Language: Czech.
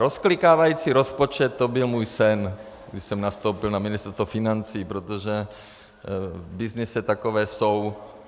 Rozklikávací rozpočet, to byl můj sen, když jsem nastoupil na Ministerstvo financí, protože v byznysu takové jsou.